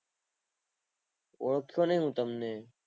ઓળખતો નહિ હું તમને